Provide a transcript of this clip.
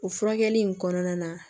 O furakɛli in kɔnɔna na